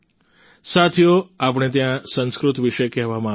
સાથીઓ આપણે ત્યાં સંસ્કૃત વિશે કહેવામાં આવ્યું છે